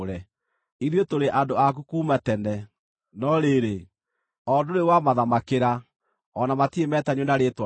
Ithuĩ tũrĩ andũ aku kuuma tene; no rĩrĩ, o ndũrĩ wamathamakĩra, o na matirĩ metanio na rĩĩtwa rĩaku.